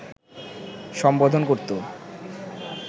সম্বোধন করত